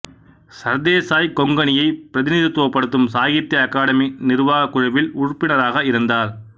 சர்தேசாய் கொங்கனியைப் பிரதிநிதித்துவப்படுத்தும் சாகித்திய அகாடமி நிர்வாகக் குழுவில் உறுப்பினராக இருந்தார்